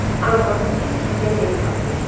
Amma siz bizə bel bağlayın.